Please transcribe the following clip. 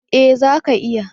Eh zaka iya.